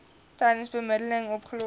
tydens bemiddeling opgelos